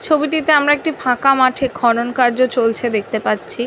ছবি টিতে আমরা একটি ফাঁকা মাঠে খনন কার্য চলছে দেখতে পাচ্ছি।